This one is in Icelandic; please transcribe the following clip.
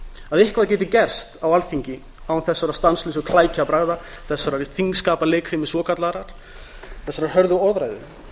að eitthvað geti gerst á alþingi án þessara stanslausu klækjabragða þessarar þingskapaleikfimi svokallaðrar þessarar hörðu orðræðu